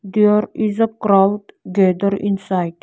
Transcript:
There is a crowd gather inside.